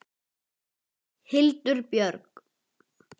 Hildur Björg.